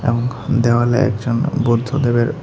উম দেওয়ালে একজন বুদ্ধদেবের--